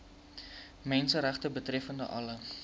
menseregte betreffende alle